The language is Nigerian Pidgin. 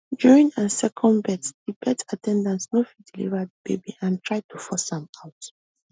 during her second labour di birth at ten dant no fit deliver di baby and try to force am out